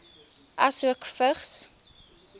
asook vigs